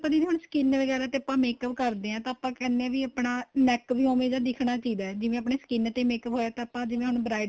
ਆਪਾਂ ਦੀਦੀ skin ਵਗੈਰਾ ਤੇ ਆਪਾਂ makeup ਕਰਦੇ ਹਾਂ ਤਾਂ ਆਪਾਂ ਕਹਿਣੇ ਆਂ ਆਪਣਾ neck ਵੀ ਉਵੇ ਦਾ ਦਿਖਣਾ ਚਾਹੀਦਾ ਜਿਵੇ ਆਪਣੇਂ skin ਤੇ makeup ਹੋਇਆ ਤਾਂ ਆਪਾਂ ਜਿਵੇਂ ਹੁਣ bridal